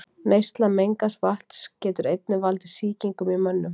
Neysla mengaðs vatns getur einnig valdið sýkingum í mönnum.